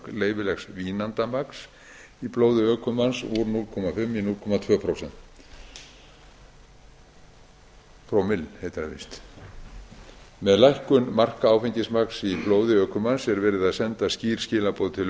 leyfilegs vínandamagns í blóði ökumanns úr hálf í núll komma tvö prómill með lækkun marka áfengismagns í blóði ökumanns er verið að senda skýr skilaboð til